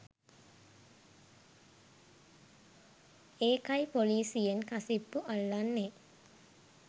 ඒකයි පොලීසියෙන් කසිප්පු අල්ලන්නේ